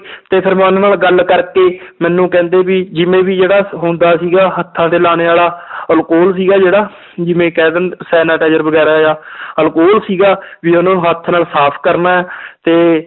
ਤੇ ਫਿਰ ਮੈਂ ਉਹਨਾਂ ਨਾਲ ਗੱਲ ਕਰਕੇ ਮੈਨੂੰ ਕਹਿੰਦੇ ਵੀ ਜਿਵੇਂ ਵੀ ਜਿਹੜਾ ਹੁੰਦਾ ਸੀਗਾ ਹੱਥਾਂ ਤੇ ਲਾਉਣੇ ਵਾਲਾ alcohol ਸੀਗਾ ਜਿਹੜਾ ਜਿਵੇਂ ਕਹਿ ਦਿੰਦੇ sanitizer ਵਗ਼ੈਰਾ ਆ alcohol ਸੀਗਾ ਵੀ ਉਹਨੂੰ ਹੱਥ ਨਾਲ ਸਾਫ਼ ਕਰਨਾ ਹੈ ਤੇ